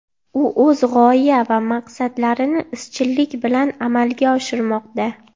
U o‘z g‘oya va maqsadlarini izchillik bilan amalga oshirmoqda.